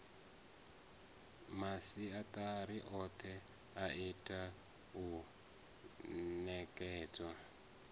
masiatari othe itea u nekedzwa